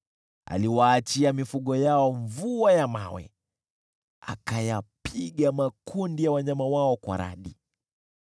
Aliwaachia mifugo yao mvua ya mawe, akayapiga makundi ya wanyama wao kwa radi.